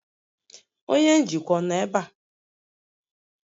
Onye njikwa nọ ebe a?